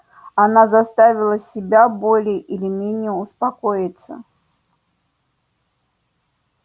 она заставила себя более или менее успокоиться